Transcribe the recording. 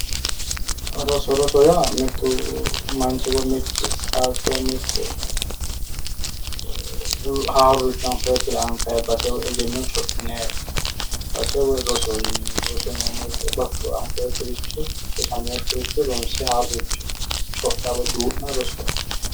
Roso. Rosoho yaa mittu manchi woyi mittu qaaqqi woyi mitte haaruricho anfoyikkiricho anfanni egenno codhinanni base woyi rosoho yineemmo. Risoho yineemmo woyite bashsho anfoyikkiricho ronse haaroricho codha woyi duu'na rosoho yinanni